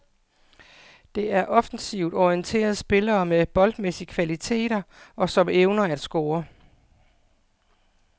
Det er offensivt orienterede spillere med boldmæssige kvaliteter, og som evner at score.